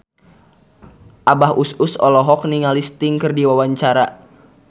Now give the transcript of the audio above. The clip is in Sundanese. Abah Us Us olohok ningali Sting keur diwawancara